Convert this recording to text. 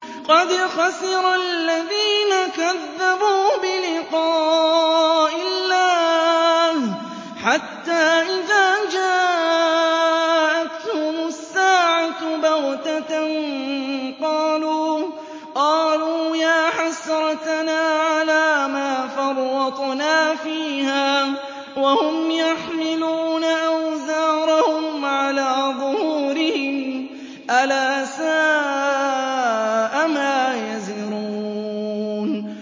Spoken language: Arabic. قَدْ خَسِرَ الَّذِينَ كَذَّبُوا بِلِقَاءِ اللَّهِ ۖ حَتَّىٰ إِذَا جَاءَتْهُمُ السَّاعَةُ بَغْتَةً قَالُوا يَا حَسْرَتَنَا عَلَىٰ مَا فَرَّطْنَا فِيهَا وَهُمْ يَحْمِلُونَ أَوْزَارَهُمْ عَلَىٰ ظُهُورِهِمْ ۚ أَلَا سَاءَ مَا يَزِرُونَ